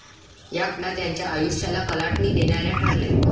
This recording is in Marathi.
या घटना त्यांच्या आयुष्याला कलाटणी देणाऱ्या ठरल्या.